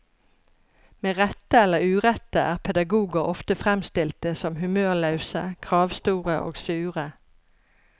Med rette eller urette er pedagogar ofte framstelte som humørlause, kravstore og sure.